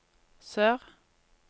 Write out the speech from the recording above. sør